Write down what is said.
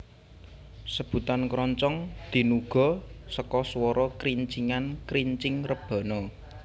Sebutan Kroncong dinuga seka suara krincingan krincing rebana